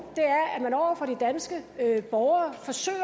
er at borgere forsøger